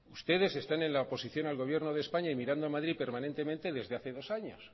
ustedes están en la oposición al gobierno de españa y mirando a madrid permanentemente desde hace dos años